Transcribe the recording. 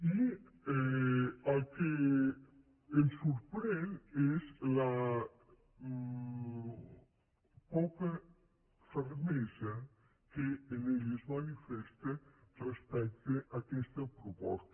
i el que ens sorprèn és la poca fermesa que en ell es manifesta respecte a aquesta proposta